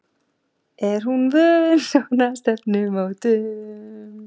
Er hún vön svona stefnumótum?